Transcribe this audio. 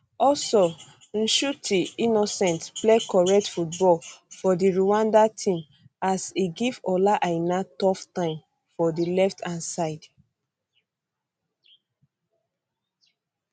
also nshuti innocent play correct football for di rwanda team um as e give ola aina tough time for di um left hand side